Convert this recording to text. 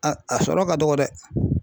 A a sɔrɔ ka dɔgɔ dɛ.